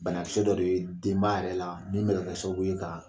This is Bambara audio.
Banakisɛ dɔ de ye denba yɛrɛ la min bɛ kɛ sababu ye ka